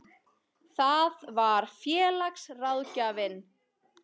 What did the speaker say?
Það var félagsráðgjafinn.